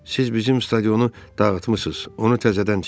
Siz bizim stadionu dağıtmışız, onu təzədən tikin.